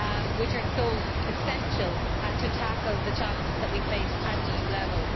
which are so essential to tackle the challenges that we face at EU level.